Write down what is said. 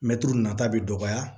Mɛtiri nata bɛ dɔgɔya